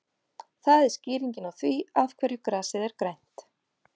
Það er skýringin á því af hverju grasið er grænt.